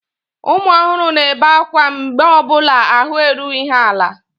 Ụmụ ohuru na-ebe ákwá mgbe ọ bụla ahụ erughị ha ala.